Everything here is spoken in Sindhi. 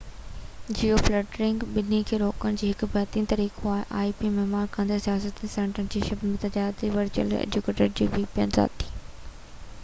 ذاتي vpn ورچوئل پرائيوٽ نيوٽورڪ مهيا ڪندڙ سياسي سينسرشپ ۽ تجارتي ip-جيوفلٽرنگ ٻني کي روڪڻ جو هڪ بهترين طريقو آهي